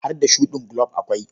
Har da shuɗin gulob akwai.